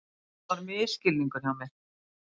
Þetta var misskilningur hjá mér.